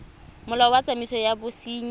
molao wa tsamaiso ya bosenyi